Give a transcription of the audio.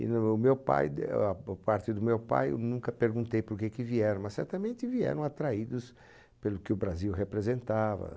E no éh meu pai, da parte do meu pai, eu nunca perguntei por que vieram, mas certamente vieram atraídos pelo que o Brasil representava.